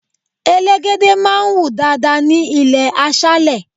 Elégède máa ń wù dáadáa ní ilé aṣálé.